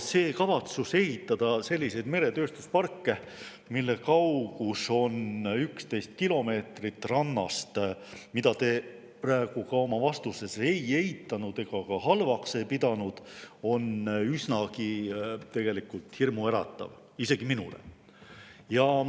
Ja kavatsus ehitada selliseid meretööstusparke, mille kaugus on 11 kilomeetrit rannast, mida te praegu ka oma vastuses ei eitanud ega halvaks ei pidanud, on üsnagi hirmuäratav, isegi minule.